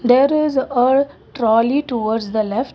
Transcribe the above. there is a tralley towards the left.